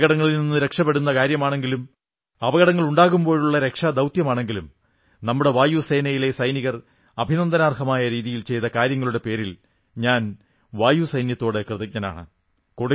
അപകടങ്ങളിൽ നിന്ന് രക്ഷപെടുത്തുന്ന കാര്യമാണെങ്കിലും അപകടങ്ങളുണ്ടാകുമ്പോഴുള്ള രക്ഷാ ദൌത്യമാണെങ്കിലും നമ്മുടെ വായുസേനയിലെ സൈനികർ അഭിനന്ദനാർഹമായ രീതിയിൽ ചെയ്ത കാര്യങ്ങളുടെ പേരിൽ ഞാൻ വായുസേനയോട് കൃതജ്ഞനാണ്